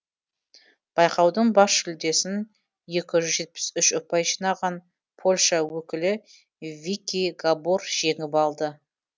байқаудың бас жүлдесін екі жүз жетпіс үш ұпай жинаған польша өкілі вики габор жеңіп алды